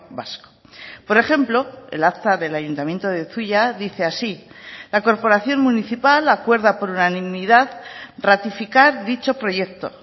vasco por ejemplo el acta del ayuntamiento de zuia dice así la corporación municipal acuerda por unanimidad ratificar dicho proyecto